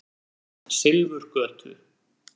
Silfurgötu